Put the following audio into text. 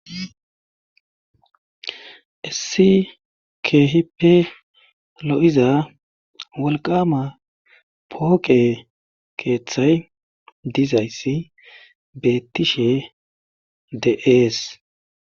Issi keehipe lo7iza wolqama pooqe keeththay dizaysi beettishe de ees